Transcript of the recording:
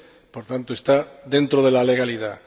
Por tanto, está dentro de la legalidad.